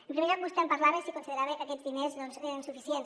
en primer lloc vostè em parlava de si considerava que aquests diners eren suficients